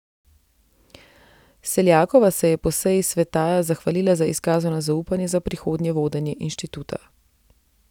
Seljakova se je po seji sveta zahvalila za izkazano zaupanje za prihodnje vodenje inštituta.